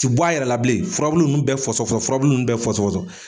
Ti bɔ a yɛrɛ la bilen, furabulu nun bɛ fɔsɔfɔsɔ, furabulu nun bɛ fɔsɔfɔsɔ.